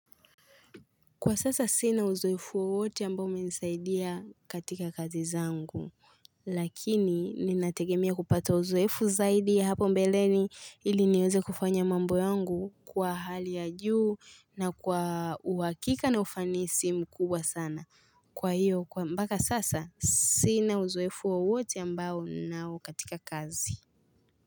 Kwa sasa sina uzoefu wowote ambao umenisaidia katika kazi zangu, lakini ninategemea kupata uzoefu zaidi ya hapo mbeleni ili niweze kufanya mambo yangu kwa hali ya juu na kwa uhakika na ufanisi mkubwa sana. Kwa hiyo, mpaka sasa sina uzoefu wowote ambao ninao katika kazi.